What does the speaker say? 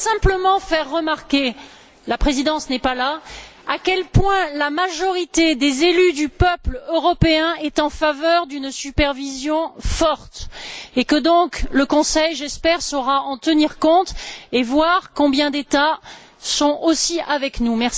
Je voudrais simplement faire remarquer la présidence n'est pas là à quel point la majorité des élus du peuple européen est en faveur d'une supervision forte. J'espère donc que le Conseil saura en tenir compte, en voyant combien d'États sont aussi avec nous.